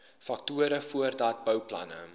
faktore voordat bouplanne